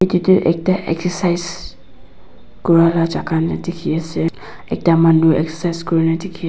edu tu ekta exercise kura la jaga la dikhiase ekta manu exercise kurina dikhi--